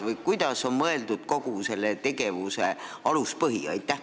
Milline on kogu selle tegevuse aluspõhimõte?